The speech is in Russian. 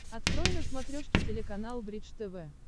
открой на смотрешке телеканал бридж тв